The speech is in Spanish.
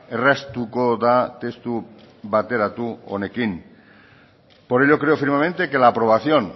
erraztuko da testu bateratu honekin por ello creo firmemente que la aprobación